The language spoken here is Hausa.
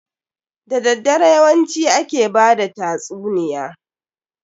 Da daddare yawanci ake bada tatsuniya.